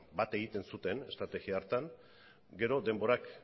bat egiten zuten estrategia hartan gero denborak